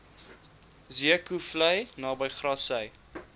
zeekoevlei naby grassy